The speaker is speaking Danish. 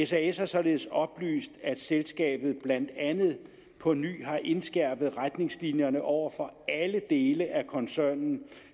sas har således oplyst at selskabet blandt andet på ny har indskærpet retningslinjerne over for alle dele af koncernen